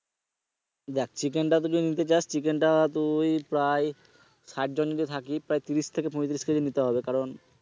দেখ chicken টা তুই যদি নিতে চাস chicken টা তুই প্রায় ষাট জন যদি থাকি প্রায় ত্রিশ থেকে পয়ত্রিশ KG নিতে হবে। কারণ,